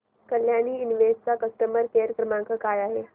Kalyani invest चा customer care क्रमांक काय आहे